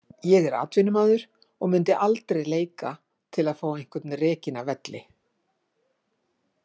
Ég er atvinnumaður og myndi aldrei leika til að fá einhvern rekinn af velli.